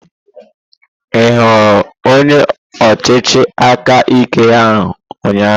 Ị hụrụ onye ọchịchị aka ike ahụ ụnyaahụ?